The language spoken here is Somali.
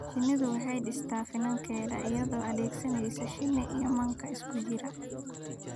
Shinnidu waxay dhistaa finankeeda iyadoo adeegsanaysa shinni iyo manka isku jira.